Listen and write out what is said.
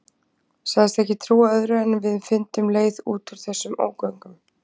Sagðist ekki trúa öðru en við fyndum leið út úr þessum ógöngum.